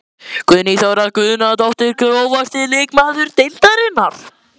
Guðný Þóra Guðnadóttir Grófasti leikmaður deildarinnar?